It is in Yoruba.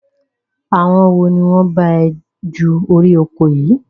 Àwọn wo ni wọn bá ẹ ju orí oko yìí?